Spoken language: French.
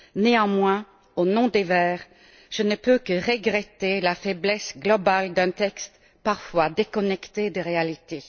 Néanmoins, au nom des Verts, je ne peux que regretter la faiblesse globale d'un texte parfois déconnecté des réalités.